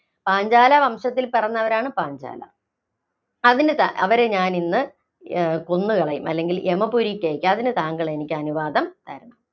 പാഞ്ചാല വംശത്തില്‍ പിറന്നവരാണ് പാഞ്ചാലര്‍. അതിനിതാ, അവരെ ഞാനിന്ന് കൊന്നുകളയും അല്ലെങ്കില്‍ യമപുരിക്കയക്കും. അതിനു താങ്കളെനിക്ക് അനുവാദം തരണം.